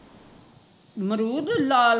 ਮਰੂਦ ਲਾਲ